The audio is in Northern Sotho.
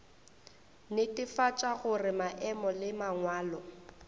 netefatša gore maemo le mangwalo